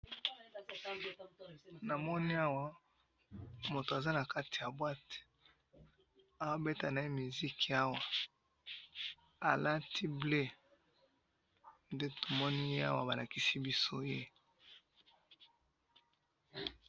Awa mutu aza nakati ya Boîte, azo beta musique, alati bleu.